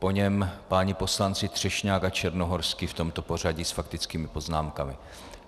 Po něm páni poslanci Třešňák a Černohorský, v tomto pořadí, s faktickými poznámkami.